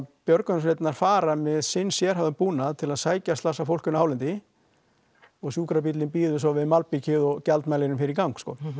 björgunarsveitirnar fara með sinn sérhæfða búnað til að sækja slasað fólk inná hálendi og sjúkrabíllinn bíður svo við malbikið og gjaldmælirinn fer í gang